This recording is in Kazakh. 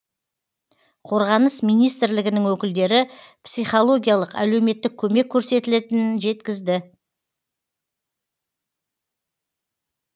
қорғаныс министрлігінің өкілдері психологиялық әлеуметтік көмек көрсетілетінін жеткізді